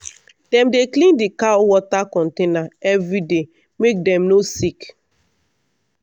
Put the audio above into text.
dem dey clean the cow water container every day make dem no sick